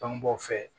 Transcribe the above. Bangebaaw fɛ